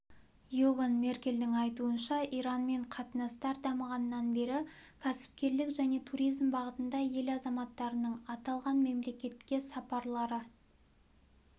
иоган меркельдің айтуынша иранмен қатынастар дамығаннан бері кәсіпкерлік және туризм бағытында ел азаматтарының аталған мемлекетке сапарлары